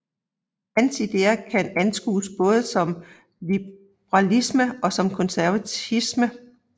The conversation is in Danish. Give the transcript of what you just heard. Hans ideer kan anskues både som liberalisme og som konservatisme